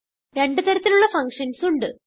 രണ്ട് തരത്തിലുള്ള ഫങ്ഷൻസ് ഉണ്ട്